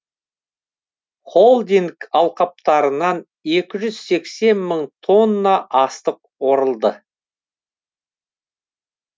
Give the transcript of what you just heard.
холдинг алқаптарынан екі жүз сексен мың тонна астық орылды